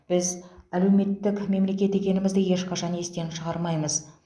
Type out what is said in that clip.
біз әлеуметтік мемлекет екенімізді ешқашан естен шығармаймыз